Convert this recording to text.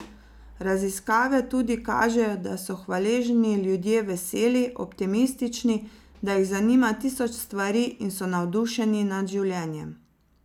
Raziskave tudi kažejo, da so hvaležni ljudje veseli, optimistični, da jih zanima tisoč stvari in so navdušeni nad življenjem!